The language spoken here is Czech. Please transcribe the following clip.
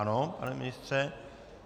Ano, pane ministře.